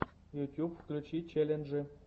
ютуб включи челленджи